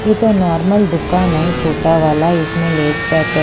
ये तो नॉर्मल दुकान है छोटा वाला इसमें लेस पैकेट --